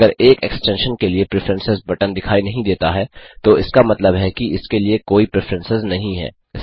अगर एक एक्सटेंशन के लिए प्रेफरेंस बटन दिखाई नहीं देता है तो इसका मतलब है कि इसके लिए कोई प्रिफ्रेन्सेस नहीं है